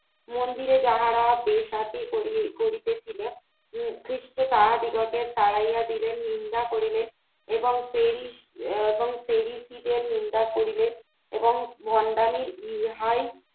মন্দিরে যাহারা বেসাতি করি করিতেছিলেন উম খ্রিস্ট তাহাদিগকে তারাইয়া দিলেন নিন্দা করিলেন এবং তুহি এবং তুহি নিন্দা করিলেন এবং ভন্ডামি ইহাই